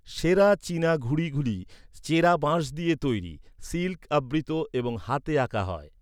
সেরা চীনা ঘুড়িগুলি চেরা বাঁশ দিয়ে তৈরি, সিল্ক আবৃত এবং হাতে আঁকা হয়।